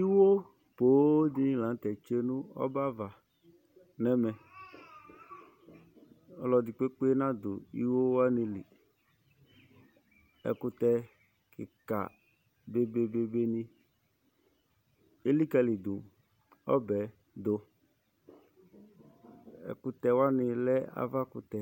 Iwo poo dɩnɩ la nʋ tɛ tsue nʋ ɔbɛ ava nʋ ɛmɛ Ɔlɔdɩ kpekpe nadʋ iwo wanɩ li Ɛkʋtɛ kɩka dʋ obe bebenɩ elikǝlidu ɔbɛ yɛ dʋ Ɛkʋtɛ wanɩ lɛ avakʋtɛ